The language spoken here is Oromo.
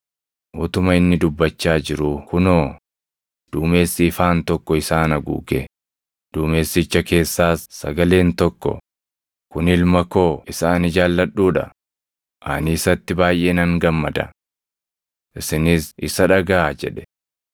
Utuma inni dubbachaa jiruu kunoo, duumessi ifaan tokko isaan haguuge; duumessicha keessaas sagaleen tokko, “Kun Ilma koo isa ani jaalladhuu dha; ani isatti baayʼee nan gammada. Isinis isa dhagaʼaa!” jedhe.